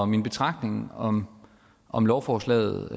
min betragtning om om lovforslaget